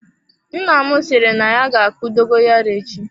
Nna m sịrị na ya ga-akụ dogoyaro echi.